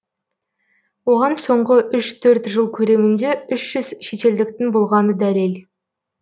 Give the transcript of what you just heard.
оған соңғы жыл көлемінде шетелдіктің болғаны дәлел